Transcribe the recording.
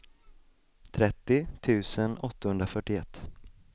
trettio tusen åttahundrafyrtioett